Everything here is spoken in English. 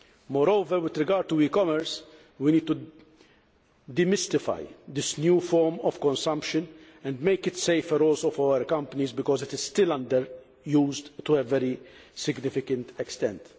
Moreover, with regard to e commerce, we need to de mystify this new form of consumption and make it safer, also for our companies, because it is still under used to a very significant extent.